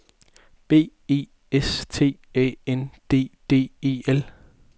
B E S T A N D D E L